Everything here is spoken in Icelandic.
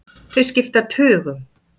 Þau skipta tugum.